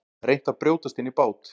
Reynt að brjótast inn í bát